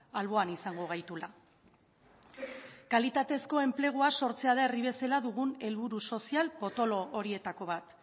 alboan izango gaituela kalitatezko enplegua sortzea da herri bezala dugun helburu sozial potolo horietako bat